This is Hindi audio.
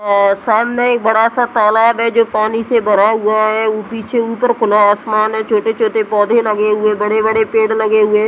अ सामने एक तालाब है जो पानी से भरा हुआ है। उ पीछे ऊपर खुला आसमान है। छोटे-छोटे पौधे लगे हुए है। बड़े-बड़े पेड़ लगे हुए--